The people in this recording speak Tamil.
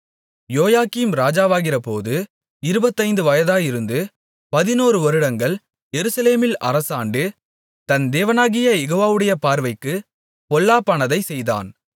யோயாக்கீம் ராஜாவாகிறபோது இருபத்தைந்து வயதாயிருந்து பதினொரு வருடங்கள் எருசலேமில் அரசாண்டு தன் தேவனாகிய யெகோவாவுடைய பார்வைக்குப் பொல்லாப்பானதைச் செய்தான்